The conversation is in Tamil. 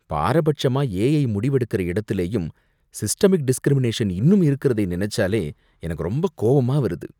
பாரபட்சமா ஏஐ முடிவெடுக்கற இடத்துலயும் சிஸ்டமிக் டிஸ்கிரிமினேஷன் இன்னும் இருக்குறதை நினைச்சாலே எனக்கு ரொம்ப கோவமா வருது.